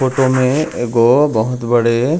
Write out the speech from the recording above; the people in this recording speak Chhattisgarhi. ए फोटो में एगो बहुत बड़े--